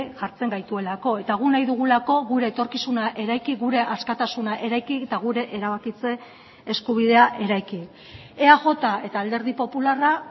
jartzen gaituelako eta guk nahi dugulako gure etorkizuna eraiki gure askatasuna eraiki eta gure erabakitze eskubidea eraiki eaj eta alderdi popularra